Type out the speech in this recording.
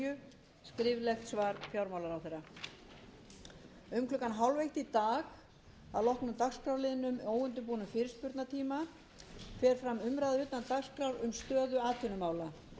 um klukkan hálfeitt í dag að loknum liðnum óundirbúnum fyrirspurnatíma fer fram umræða utan dagskrár um stöðu atvinnumála